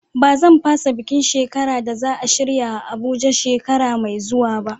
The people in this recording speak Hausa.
Ba zan fasa bukin shekara da za a shirya a Abuja shekara mai zuwa ba.